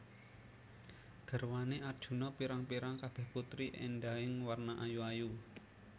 Garwané Arjuna pirang pirang kabèh putri éndahing warna ayu ayu